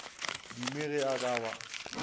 dume ge a ka ba